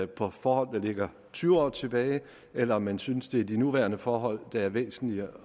på forhold der ligger tyve år tilbage eller om man synes det er de nuværende forhold der er væsentlige